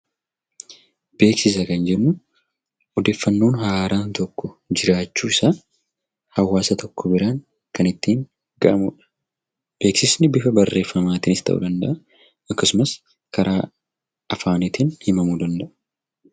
Beeksisa kan jennu odeeffannoo haaraan jiraachuu isaa hawaasa tokko biraan kan ittiin gahamudha. Beeksisni karaa barreeffama yookiin karaa afaaniin beeksifamuu danda'a.